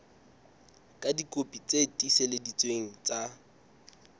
ka dikopi tse tiiseleditsweng tsa